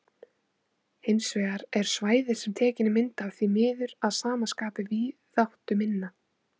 Hins vegar er svæðið sem tekin er mynd af því miður að sama skapi víðáttuminna.